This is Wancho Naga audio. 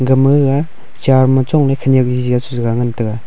gama gaga char ma chongley khenyak Jojo a chengan taiga.